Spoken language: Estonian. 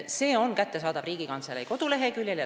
See juhend on kättesaadav Riigikantselei koduleheküljel.